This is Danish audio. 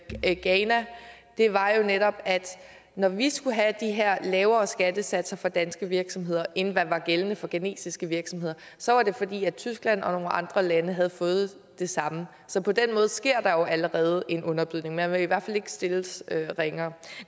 ghana var jo netop at når vi skulle have de her lavere skattesatser for danske virksomheder end hvad der var gældende for ghanesiske virksomheder så var det fordi tyskland og nogle andre lande havde fået det samme så på den måde sker der jo allerede en underbydning man vil i hvert fald ikke stilles ringere